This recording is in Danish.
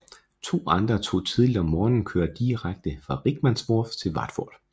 To andre tog tidligt om morgenen kører direkte fra Rickmansworth til Watford